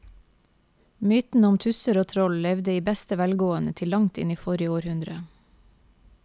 Mytene om tusser og troll levde i beste velgående til langt inn i forrige århundre.